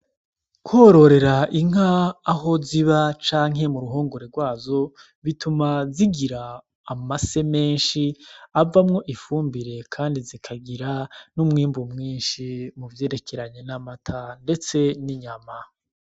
Kwororera inka aho ziba canke mu ruhungore rwazo, bituma zigira amase menshi, avamwo ifumbire kandi zikagira n'umwimbu mwinshi mu vyerekeranye n'amata ndetse n'inyama.